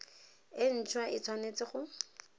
nt hwa e tshwanetse go